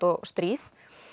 og stríð